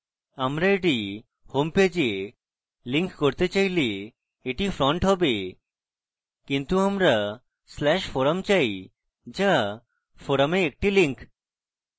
আমরা এটি homepage we link করতে চাইলে এটি front হবে কিন্তু আমরা/forum চাই যা forum we একটি link